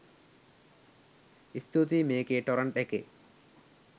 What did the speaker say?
ස්තුතියි මේකේ ටොරන්ට් එකේ